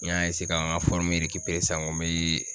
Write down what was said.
N y'a ka ŋa san ŋo n bee